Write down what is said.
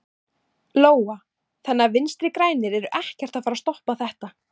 Lóa: Þannig að Vinstri-grænir eru ekkert að fara að stoppa þetta?